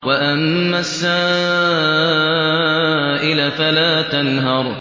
وَأَمَّا السَّائِلَ فَلَا تَنْهَرْ